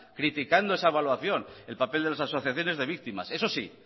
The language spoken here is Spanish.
criticando esa evaluación el papel de las asociaciones de víctimas eso sí